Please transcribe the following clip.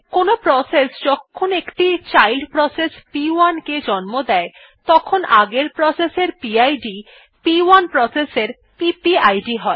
কোনো প্রসেস যখন একটি চাইল্ড প্রসেস প1 কে জন্ম দেয় তখন আগের প্রসেস এর পিড প1 প্রসেস এর পিপিআইডি হয়